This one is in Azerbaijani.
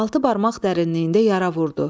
Altı barmaq dərinliyində yara vurdu.